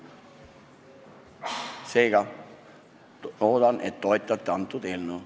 Seega loodan, et toetate seda eelnõu.